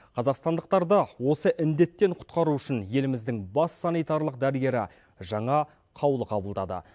қазақстандықтарды осы індеттен құтқару үшін еліміздің бас санитарлық дәрігері жаңа қаулы қабылдады